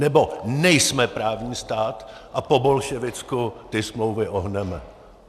Nebo nejsme právní stát a po bolševicku ty smlouvy ohneme?